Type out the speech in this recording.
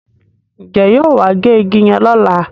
Njé yóò wá gé ìgi yen lọla?